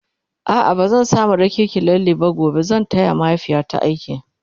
a'a bazan samu raki ki lalle ba gobe zan taya mahaifiyata aiki